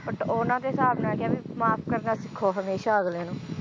But ਉਹਨਾਂ ਦੇ ਹਿਸਾਬ ਨਾਲ ਕਿਹਾ ਵੀ ਮਾਫ ਕਰਨਾ ਸਿੱਖੋ ਹਮੇਸ਼ਾ ਅਗਲੇ ਨੂੰ